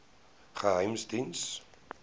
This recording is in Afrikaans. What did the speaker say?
geheimediens